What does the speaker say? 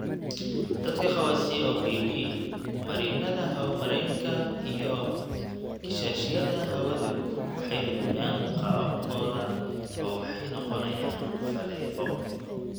Dadka qaba COPD, marinnada hawo-mareenka iyo kiishashyada hawadu waxay lumiyaan qaabkooda oo waxay noqonayaan faleebo.